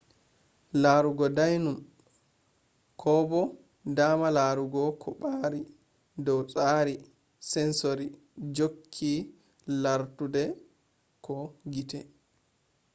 laarugo dainum ko bo daama laarugo ɗo ɓaari dow tsari sensori jokke larduɗe ko gite